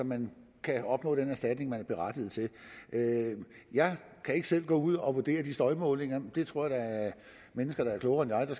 man kan opnå den erstatning man er berettiget til jeg kan ikke selv gå ud og vurdere de støjmålinger det tror jeg mennesker der er klogere end